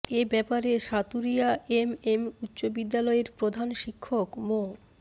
এ ব্যাপারে সাতুরিয়া এমএম উচ্চ বিদ্যালয়ের প্রধান শিক্ষক মো